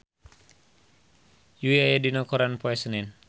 Yui aya dina koran poe Senen